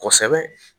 Kosɛbɛ